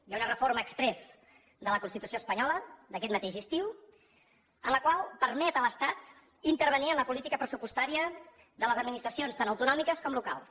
hi ha una reforma exprés de la constitució espanyola d’aquest mateix estiu en la qual permet a l’estat intervenir en la política pressupostària de les administracions tant autonòmiques com locals